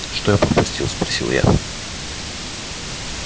что я пропустил спросил я